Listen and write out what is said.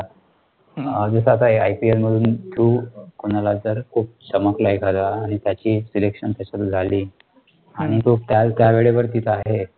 जसं आता ipl मधून THROUGH कोणाला जर खूप चमकला आहे एखाद्याला आणि त्याची selection त्याच्यात झाली आणि तो त्या त्या वेळेवर तिथं आहे,